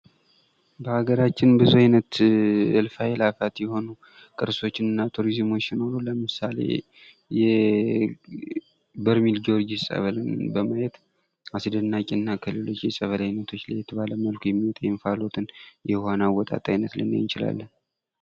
በአገራችን ብዙ አይነት እልፍ አይላፋት የሆኑ ቅርሶች እና ቱሪዝሞች ሲኖሩ ለምሳሌ የበርሜል ጊዎርጊስ ፀበልን በማየት አስደናቂ እና ከሌሎች የፀበል አይነቶች ለየት ባለ መልኩ የሚወጣ የእንፋሎት አይነት ነዉ ልንለዉ እንችላለን።